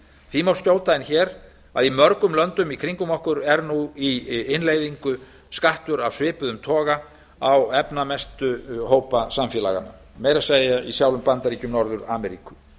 því má skjóta inn hér að í mörgum löndum í kringum okkur er í innleiðingu skattur af svipuðum toga á efnamestu hópa samfélaganna meira að segja í sjálfum bandaríkjum norður ameríku